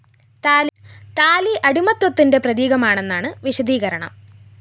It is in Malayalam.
താലി അടിമത്തത്തിന്റെ പ്രതീകമാണെന്നാണ് വിശദീകരണം